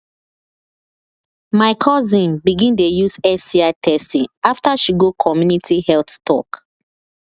my cousin begin dey use sti testing after she go community health talk